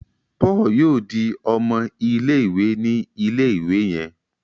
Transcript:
Paul yóò dì ọmọ ilé-ìwé ní ilé-ìwé yen.